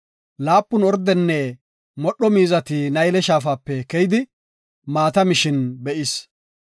Laapun ordenne modho miizati Nayle Shaafape keyidi, maata mishin be7is.